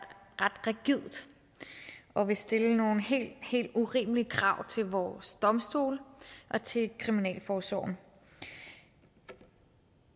ret rigidt og vil stille nogle helt helt urimelige krav til vores domstole og til kriminalforsorgen jeg